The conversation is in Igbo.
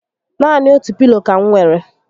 Naani otu pilo ka m nwèrè